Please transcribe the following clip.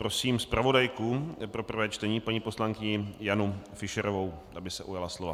Prosím zpravodajku pro prvé čtení paní poslankyni Janu Fischerovou, aby se ujala slova.